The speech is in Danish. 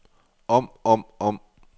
om om om